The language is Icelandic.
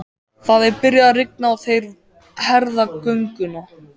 Það er byrjað að rigna og þeir herða gönguna.